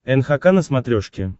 нхк на смотрешке